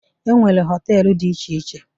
E nwere họtelu dị iche iche.